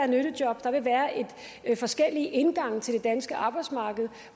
nyttejob der vil være forskellige indgange til det danske arbejdsmarked